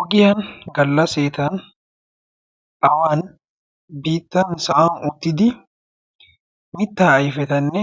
oggiyan gallaseetan awan bittan sa7an uttidi mittaa aifetanne